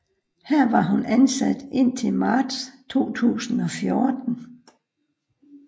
Her var hun ansat indtil marts 2014